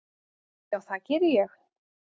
Já, það geri ég.